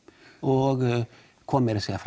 og kom meira að segja